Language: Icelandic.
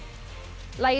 lagið